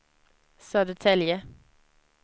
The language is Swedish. Södertälje